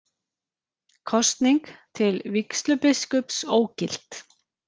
Kosning til vígslubiskups ógilt